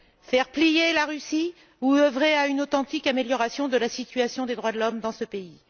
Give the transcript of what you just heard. Faire plier la Russie ou œuvrer à une authentique amélioration de la situation des droits de l'homme dans ce pays?